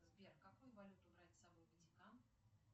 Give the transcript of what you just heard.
сбер какую валюту брать с собой в ватикан